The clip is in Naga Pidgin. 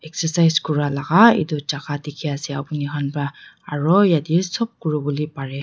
excercise kura laga etu zaka dekhiase puni khan para aru yatae sob kurivolae parey.